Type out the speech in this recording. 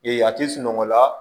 a tɛ sunɔgɔ la